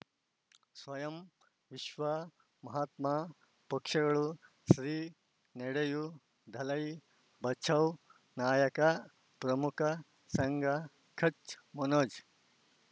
ಸ್ವಯಂ ವಿಶ್ವ ಮಹಾತ್ಮ ಪಕ್ಷಗಳು ಶ್ರೀ ನಡೆಯೂ ದಲೈ ಬಚೌ ನಾಯಕ ಪ್ರಮುಖ ಸಂಘ ಕಚ್ ಮನೋಜ್